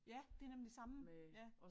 Ja det nemlig det samme ja